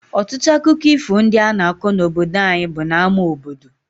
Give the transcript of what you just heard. Ọtụtụ akụkọ ifo ndị a na-akọ n’obodo anyị bụ n’ámá obodo.